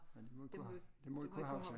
Men det må vi kunne det må vi kunne huske